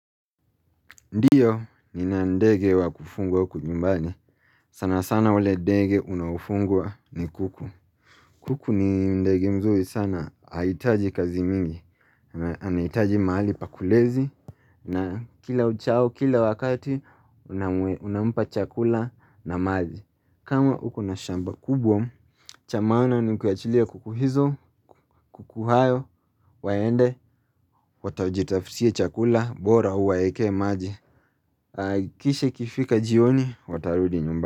Ndiyo, nina ndege wa kufungwa huku nyumbani sana sana wale ndege unaufungwa ni kuku. Kuku ni ndege mzuri sana. Aitaji kazi mingi. Anaitaji maali pakulezi. Na kila uchao kila wakati, unamupa chakula na maji. Kama huko na shamba kubwa, chamaana ni kuachilia kuku hizo, kuku hayo, waende. Watajitaftie chakula, bora huwa eke maji. Kisha ikifika jioni watarudi nyumba.